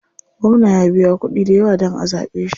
Gwamna ya biya kuɗi dayawa dan a zaɓe shi.